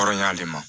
Kɔrɔɲ'ale ma